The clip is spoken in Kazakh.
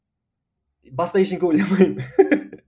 басқа ештеңе ойламаймын